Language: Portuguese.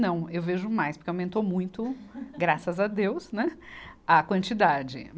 Não, eu vejo mais, porque aumentou muito, graças a Deus, né, a quantidade.